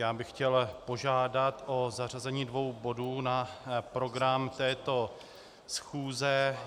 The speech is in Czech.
Já bych chtěl požádat o zařazení dvou bodů na program této schůze.